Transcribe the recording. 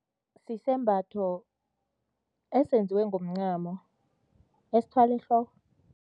Sisembatho esenziwe ngomncamo, esithwalwa ehloko.